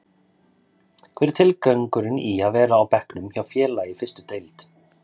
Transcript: Hver er tilgangurinn í að vera á bekknum hjá félagi í fyrstu deild?